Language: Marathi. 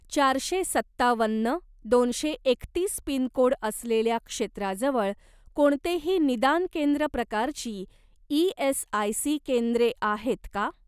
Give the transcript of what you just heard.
चारशे सत्तावन्न दोनशे एकतीस पिनकोड असलेल्या क्षेत्राजवळ कोणतेही निदान केंद्र प्रकारची ई.एस.आय.सी. केंद्रे आहेत का?